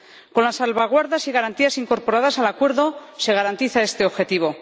Con las salvaguardas y garantías incorporadas al acuerdo se garantiza este objetivo.